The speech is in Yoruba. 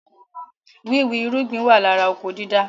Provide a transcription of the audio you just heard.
Wíwì irúgbìn wà lára oko dídá